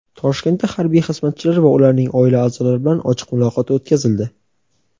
Toshkentda harbiy xizmatchilar va ularning oila a’zolari bilan ochiq muloqot o‘tkazildi.